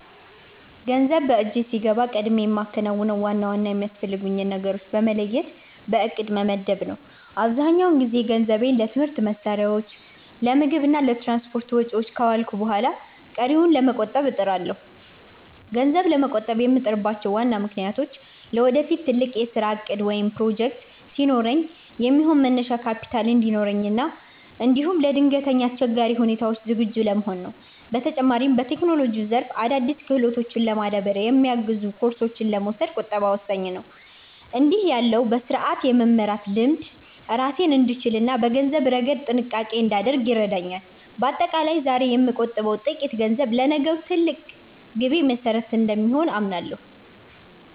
ገንዘብ በእጄ ሲገባ ቀድሜ የማከናውነው ዋና ዋና የሚያስፈልጉኝን ነገሮች በመለየት በዕቅድ መመደብ ነው። አብዛኛውን ጊዜ ገንዘቤን ለትምህርት መሣሪያዎች፣ ለምግብ እና ለትራንስፖርት ወጪዎች ካዋልኩ በኋላ ቀሪውን ለመቆጠብ እጥራለሁ። ገንዘብ ለመቆጠብ የምጥርባቸው ዋና ምክንያቶች ለወደፊት ትልቅ የሥራ ዕቅድ ወይም ፕሮጀክት ሲኖረኝ የሚሆን መነሻ ካፒታል እንዲኖረኝ እና እንዲሁም ለድንገተኛ አስቸጋሪ ሁኔታዎች ዝግጁ ለመሆን ነው። በተጨማሪም፣ በቴክኖሎጂው ዘርፍ አዳዲስ ክህሎቶችን ለማዳበር የሚያግዙ ኮርሶችን ለመውሰድ ቁጠባ ወሳኝ ነው። እንዲህ ያለው በሥርዓት የመመራት ልምድ ራሴን እንድችልና በገንዘብ ረገድ ጥንቃቄ እንዳደርግ ይረዳኛል። በአጠቃላይ፣ ዛሬ የምቆጥበው ጥቂት ገንዘብ ለነገው ትልቅ ግቤ መሠረት እንደሆነ አምናለሁ።